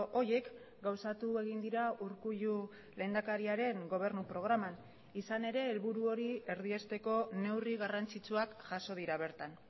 horiek gauzatu egin dira urkullu lehendakariaren gobernu programan izan ere helburu hori erdiesteko neurri garrantzitsuak jaso dira bertan